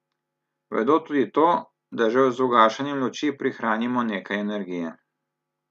Vedo tudi to, da že z ugašanjem luči prihranimo nekaj energije.